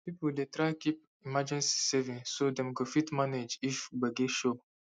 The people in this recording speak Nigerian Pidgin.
people dey try keep emergency savings so dem go fit manage if gbege show